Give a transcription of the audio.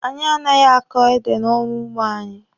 Anyị anaghị ákò édè n'ọrụ ugbo anyị.